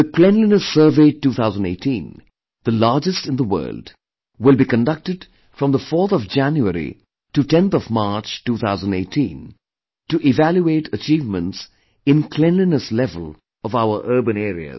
Cleanliness Survey 2018, the largest in the world, will be conducted from the 4th of January to 10th of March, 2018 to evaluate achievements in cleanliness level of our urban areas